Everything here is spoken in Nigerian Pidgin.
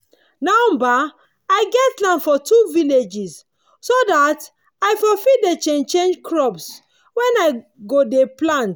now bah i get land for two different villages so dat i for fit dey change change crops wen i go dey plant